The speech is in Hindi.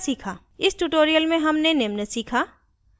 इस tutorial में हमने निम्न सीखा